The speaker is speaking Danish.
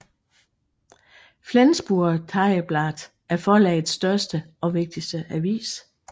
Flensburger Tageblatt er forlagets største og vigtigste avis